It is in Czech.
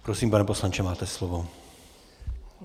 Prosím, pane poslanče, máte slovo.